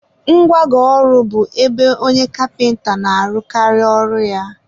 ngwago ọrụ bụ ebe onye kapịnta na-arụkarị ọrụ ya.